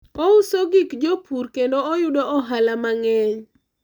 ouso gik jopur kendo oyudo ohala mang'eny